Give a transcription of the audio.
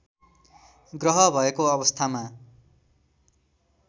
ग्रह भएको अवस्थामा